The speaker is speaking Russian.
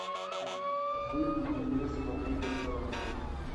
выведи мне смотри по сторонам